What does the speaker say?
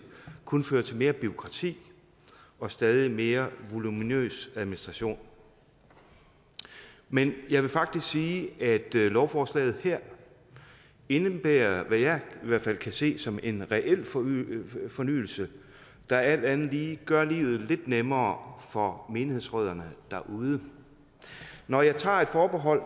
kun fører til mere bureaukrati og stadig mere voluminøs administration men jeg vil faktisk sige at lovforslaget her indebærer hvad jeg i hvert fald kan se som en reel fornyelse fornyelse der alt andet lige gør livet lidt nemmere for menighedsrødderne derude når jeg tager et forbehold